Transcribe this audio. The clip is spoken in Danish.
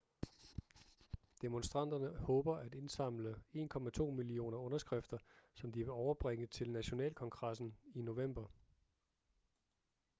demonstranterne håber at indsamle 1,2 millioner underskrifter som de vil overbringe til nationalkongressen i november